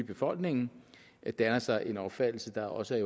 befolkningen danner sig en opfattelse der også er